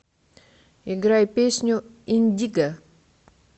играй песню индиго